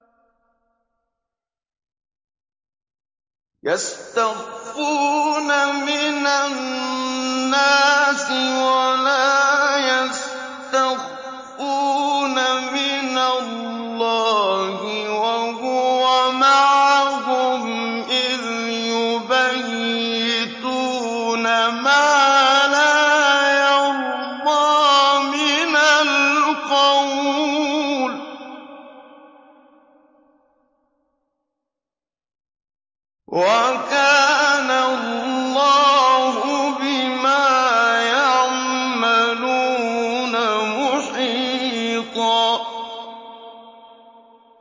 يَسْتَخْفُونَ مِنَ النَّاسِ وَلَا يَسْتَخْفُونَ مِنَ اللَّهِ وَهُوَ مَعَهُمْ إِذْ يُبَيِّتُونَ مَا لَا يَرْضَىٰ مِنَ الْقَوْلِ ۚ وَكَانَ اللَّهُ بِمَا يَعْمَلُونَ مُحِيطًا